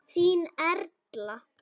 Þín Erla.